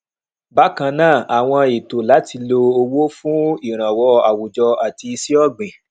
bákan náà àwọn ètò láti lo owó fún ìrànwọ àwùjọ àti iṣẹ ọgbìn